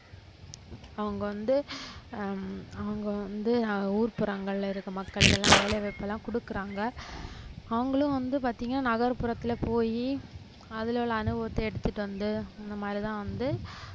அவங்க வந்து ஹம் அவங்க வந்து ஆஹ் ஊர்புறங்கள்ல இருக்க மக்களுக்கு எல்லாம் வேலைவாய்ப்பு எல்லாம் கொடுக்கறாங்க அவங்களும் வந்து பாத்தீங்கன்னா நகர்புறத்துல போயி அதுல உள்ள அனுபவத்தை எடுத்துட்டு வந்து இந்த மாதிரிதான் வந்து